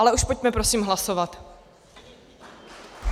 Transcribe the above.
Ale už pojďme prosím hlasovat.